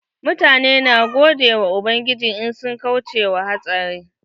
Mutane na godiyan ubangiji in sun kauce wa hatsari.